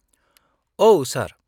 -औ, सार।